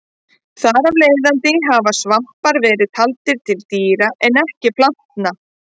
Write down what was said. Þar af leiðandi hafa svampar verið taldir til dýra en ekki plantna.